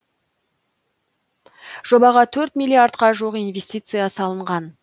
жобаға төрт миллиардқа жуық инвестиция салынған